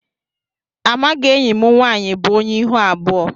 Amaghị enyị mụ nwaanyị bụ ónyé ịhụ abụọ.